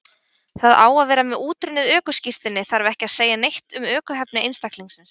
Það að vera með útrunnið ökuskírteini þarf ekki að segja neitt um ökuhæfni einstaklingsins.